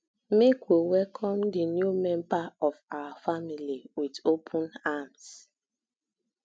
make we welcome di new member of our family wit open arms